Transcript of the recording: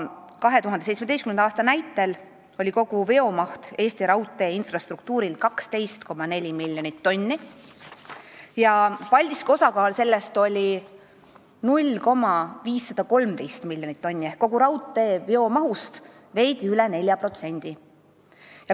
2017. aastal oli kogu Eesti raudtee infrastruktuuri veomaht 12,4 miljonit tonni, Paldiski trassi osakaal selles oli 0,513 miljonit tonni ehk kogu raudtee veomahust veidi üle 4%.